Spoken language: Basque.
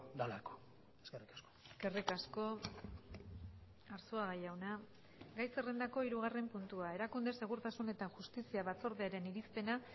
delako eskerrik asko eskerrik asko arzuaga jauna gai zerrendako hirugarren puntua erakunde segurtasun eta justizia batzordearen irizpena